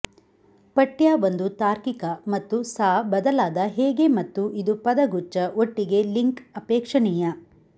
ಪಠ್ಯ ಒಂದು ತಾರ್ಕಿಕ ಮತ್ತು ಸಾ ಬದಲಾದ ಹೇಗೆ ಮತ್ತು ಇದು ಪದಗುಚ್ಛ ಒಟ್ಟಿಗೆ ಲಿಂಕ್ ಅಪೇಕ್ಷಣೀಯ